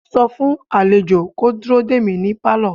sọ fún àlejò kó dúró dè mí ní Pálọ̀!